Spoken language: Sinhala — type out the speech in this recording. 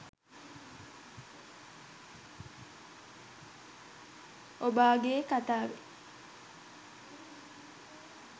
ඔබාගෙ කතාවෙන්